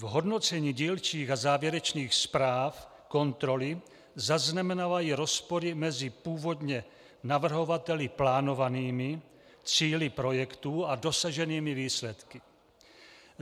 V hodnocení dílčích a závěrečných zpráv kontroly zaznamenávají rozpory mezi původně navrhovateli plánovanými cíli projektů a dosaženými výsledky.